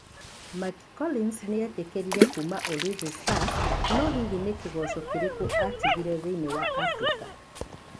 Mikel Collins nĩ eetĩkĩrire kuuma Ulinzi Stars, no hihi nĩ Kĩgoco kĩrĩkũ atigairie thĩinĩ wa Afrika?